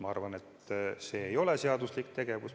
Ma arvan, et see ei ole seaduslik tegevus.